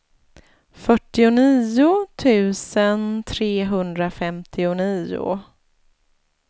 fyrtionio tusen trehundrafemtionio